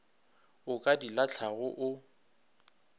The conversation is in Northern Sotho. o ka di lahlago o